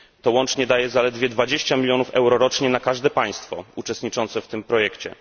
Łącznie daje to zaledwie 20 milionów euro rocznie na każde państwo uczestniczące w tym projekcie.